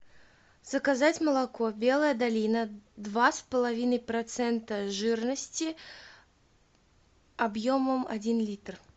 заказать молоко белая долина два с половиной процента жирности объемом один литр